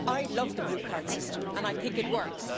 I love the blue card system and I think it works.